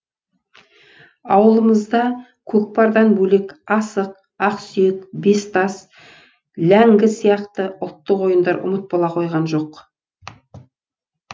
ауылымызда көкпардан бөлек асық ақсүйек бес тас ләңгі сияқты ұлттық ойындар ұмыт бола қойған жоқ